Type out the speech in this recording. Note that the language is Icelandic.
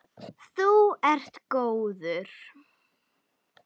Þú ert góður.